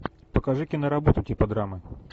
покажи киноработу типа драмы